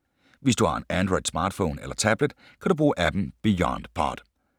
Hvis du har en Android smartphone eller tablet, kan du bruge app’en BeyondPod.